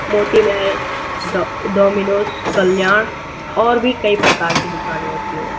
मोती महल डो डोमिनोज कल्याण और भी कई प्रकार की दुकानें होती हैं।